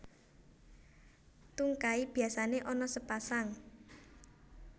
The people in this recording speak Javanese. Tungkai biasané ana sepasang